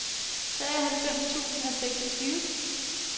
treoghalvfems tusind og seksogtyve